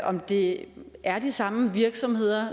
om det er de samme virksomheder